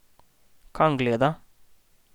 Kam gleda?